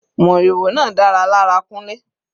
Moriwo náà dára lára Kunle.